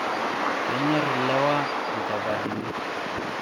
kenyor ilewa chapatani